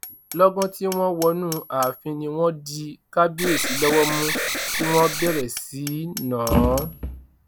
lọgán tí wọn wọnú ààfin ni wọn di kábíyèsí lọwọ mú tí wọn bẹrẹ sí í ná an